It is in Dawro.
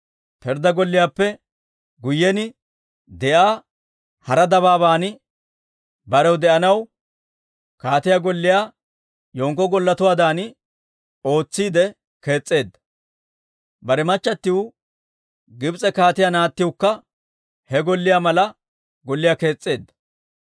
Pirddaa golliyaappe guyyen de'iyaa hara dabaaban barew de'anaw kaatiyaa golliyaa yenkko golletuwaadan ootsiide kees's'eedda; bare machchatiw, Gibs'e kaatiyaa naattiwukka he golliyaa mala golliyaa kees's'eedda.